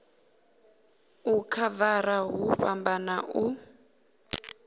u khavara hu fhambana u